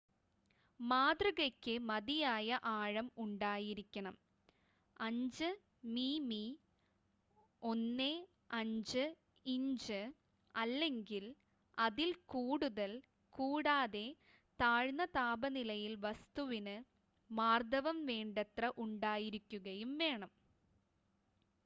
മാതൃകയ്ക്ക് മതിയായ ആഴം ഉണ്ടായിരിക്കണം 5 മിമി 1/5 ഇഞ്ച് അല്ലെങ്കില്‍ അതിൽ കൂടുതൽ കൂടാതെ താഴ്ന്ന താപനിലയില്‍ വസ്തുവിന് മാര്‍ദ്ദവം വേണ്ടത്ര ഉണ്ടായിരിക്കുകയും വേണം